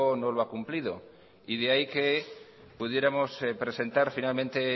no lo ha cumplido y de ahí que pudiéramos presentar finalmente